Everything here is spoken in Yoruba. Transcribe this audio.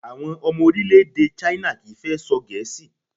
Àwọn ọmọ orílẹ̀-èdè China kì í fẹ́ sọ Gẹ̀ẹ́sì